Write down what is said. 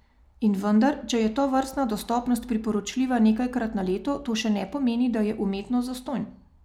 In vendar, če je tovrstna dostopnost priporočljiva nekajkrat na leto, to še ne pomeni, da je umetnost zastonj.